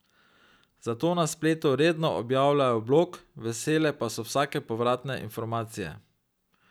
Zato na spletu redno objavljajo blog, vesele pa so vsake povratne informacije.